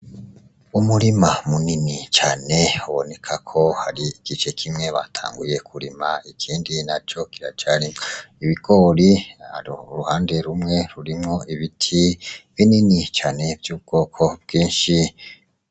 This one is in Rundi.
Umurima munini cane uboneka ko hari igice kimwe batanguye kurima ikindi naco kiracarimwo ibigori hari uruhande rumwe rurimwo ibiti binini cane vy' ubwoko bwinshi.